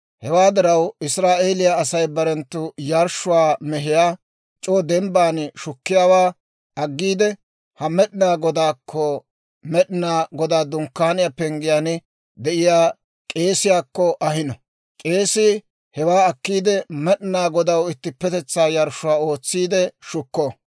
Hewaa diraw Israa'eeliyaa Asay barenttu yarshshuwaa mehiyaa c'oo dembban shukkiyaawaa aggiide, haa Med'inaa Godaakko, Med'inaa Godaa Dunkkaaniyaa penggiyaan de'iyaa k'eesiyaakko ahino. K'eesii hewaa akkiide, Med'inaa Godaw ittippetetsaa yarshshuwaa ootsiide shukko.